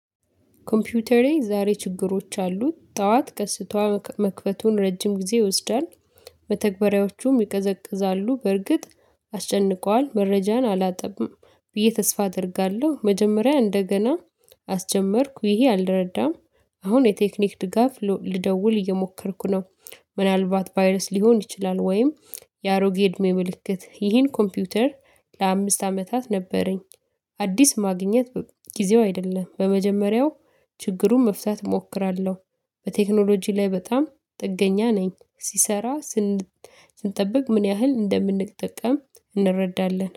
ኮምፒውተሬ ዛሬ ችግሮች አሉት። ጠዋት ከስቷ መክፈቱን ረጅም ጊዜ ይወስዳል መተግበሪያዎቹም ይቀዘቅዛሉ በርግጥ አስጨንቀዋል መረጃን አላጠብም ብዬ ተስፋ አደርጋለሁ መጀመሪያ እንደገና አስጀመርኩ ይሄ አልረዳም አሁን የቴክኒክ ድጋፍ ልደውል እየሞከርኩ ነው ምናልባት ቫይረስ ሊሆን ይችላል ወይም የአሮጌ እድሜ ምልክት ይህን ኮምፒውተር ለአምስት አመታት ነበረኝ አዲስ ማግኘት ጊዜው አይደለም በመጀመሪያው ችግሩን መፍታት እሞክራለሁ በቴክኖሎጂ ላይ በጣም ጥገኛ ነኝ ሲሰራ ስንጠብቅ ምን ያህል እንደምንጠቀም እንረዳለን